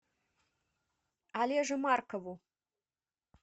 олеже маркову